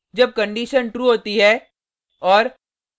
जब condition true होती है और